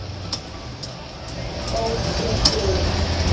Bókin þín